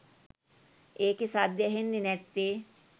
ඒකේ සද්දේ ඇහෙන්නේ නැත්තේ